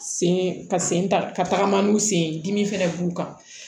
Sen ka sen ta ka tagama n'u sen ye dimi fana b'u kan